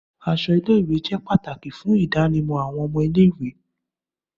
Aṣọ ile-iwe jẹ pataki fun idanimọ awọn ọmọ ile-iwe